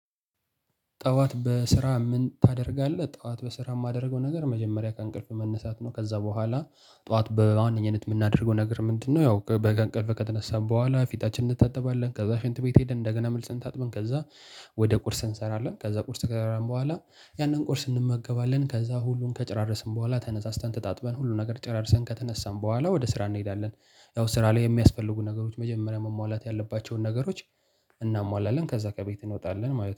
ጠዋት በስራ ምን ታደርጋለህ? ጠዋት በስራ የማደርገው ነገር መጀመሪያ ከእንቅልፍ መነሳት ነው። ከዛ በኋላ ጠዋት በዋነኘት የምናደርገው ነገር ምንድነው? ያው በቀን ቀልፍ ከተነሳን በኋላ ፊታችን እንታጠባለን ከዛ ሽንት ቤት ሄደን እንደገና መልሰን ታጥበን ከዛ ወደ ቁርስ እንሰራለን ከዛ ቁርስ ከበላን በኋላ ያንን ቁርስ እንመገባለን ከዛ ሁሉን ከጨረስን በኋላ ተነሳስተን ተጣጥበን ሁሉ ነገር ጨራርሰን ከተነሳን በኋላ ወደ ስራ እንሄዳለን። ያው ስራ ላይ የሚያስፈልጉን ነገሮች መጀመሪያ መሟላት ያለባቸውን ነገሮች እናሟላለን። ከዛ ከቤት እንወጣለን